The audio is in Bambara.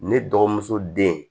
Ne dɔgɔmuso den